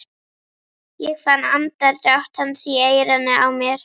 Ég fann andardrátt hans í eyranu á mér.